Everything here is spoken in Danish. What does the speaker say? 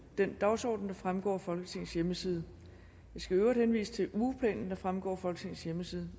den dagsorden der fremgår af folketingets hjemmeside jeg skal i øvrigt henvise til ugeplanen der fremgår af folketingets hjemmeside